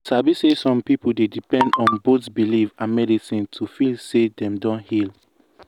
you sabi say some people dey depend on both belief and medicine to feel say dem don heal.